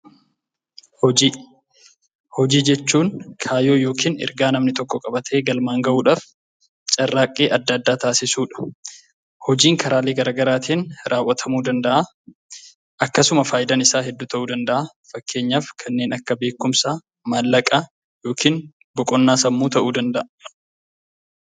Hojii Hojii jechuun kaayyoo yookiin ergaa namni tokko qabatee galmaan ga'uudhaaf carraaqqii adda addaa taasisuu dha. Hojiin karaalee garaagaraatiin raawwatamuu danda'a. Akkasuma faayidaan isaa hedduu ta'uu danda'a. Fakkeenyaaf kanneen akka beekumsaa, maallaqa yookiin boqonnaa sammuu ta'uu danda'a.